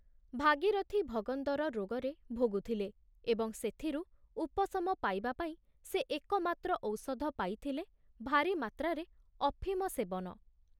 ଭାଗୀରଥି ଭଗନ୍ଦର ରୋଗରେ ଭୋଗୁଥିଲେ ଏବଂ ସେଥିରୁ ଉପଶମ ପାଇବାପାଇଁ ସେ ଏକମାତ୍ର ଔଷଧ ପାଇଥିଲେ ଭାରୀ ମାତ୍ରାରେ ଅଫିମ ସେବନ।